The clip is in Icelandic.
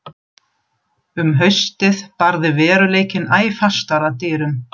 Um haustið barði veruleikinn æ fastar að dyrum.